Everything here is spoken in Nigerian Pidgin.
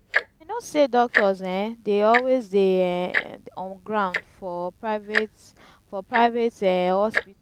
i know sey doctors um dey always dey um on ground for private for private um hospitals.